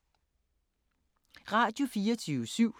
Radio24syv